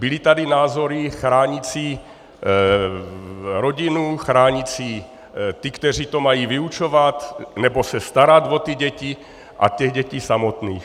Byly tady názory chránící rodinu, chránící ty, kteří to mají vyučovat nebo se starat o ty děti, a těch dětí samotných.